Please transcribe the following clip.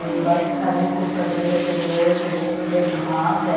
Cool बस खरे हैं कुछ कचड़े फेंके हुए छोटे छोटे घास है।